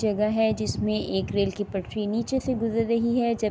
جگہ ہے، جسمے ایک ریل کی پٹری نیچے سے گجر رہی ہے جبکی--